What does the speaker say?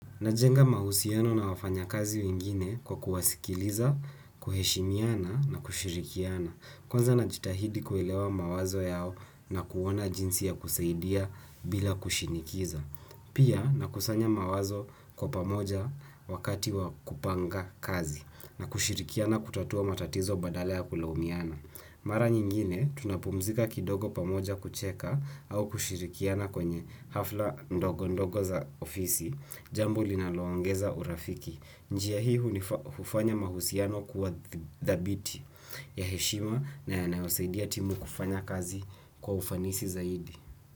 Najenga mahusiano na wafanyakazi wengine kwa kuwasikiliza, kuheshimiana na kushirikiana. Kwanza najitahidi kuelewa mawazo yao na kuona jinsi ya kusaidia bila kushinikiza. Pia nakusanya mawazo kwa pamoja wakati wa kupanga kazi na kushirikiana kutatua matatizo badala ya kulaumiana. Mara nyingine tunapumzika kidogo pamoja kucheka au kushirikiana kwenye hafla ndogo ndogo za ofisi. Jambo linaloongeza urafiki. Njia hii hufanya mahusiano kuwa dhabiti ya heshima na yanayosaidia timu kufanya kazi kwa ufanisi zaidi.